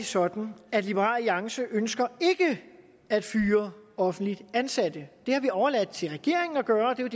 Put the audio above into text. sådan at liberal alliance ikke ønsker at fyre offentligt ansatte det har vi overladt til regeringen at gøre og det er